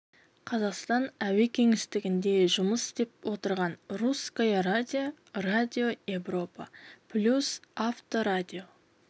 қазақстан әуе кеңістігінде жұмыс істеп отырған русское радио радио европа плюс авторадио